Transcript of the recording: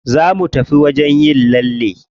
Za mu tafi wajen yin lalle.